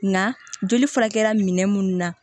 Nka joli furakɛra minɛ minnu na